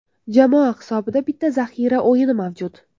Jamoa hisobida bitta zaxira o‘yini mavjud.